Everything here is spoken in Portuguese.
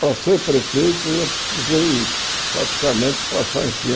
Para ser prefeito, eu precisei praticamente passar em cima.